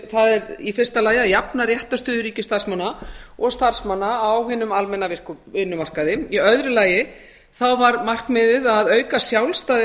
það er í fyrsta lagi að jafna réttarstöðu ríkisstarfsmanna og starfsmanna á hinum almenna vinnumarkaði í öðru lagi var markmiðið að auka sjálfstæði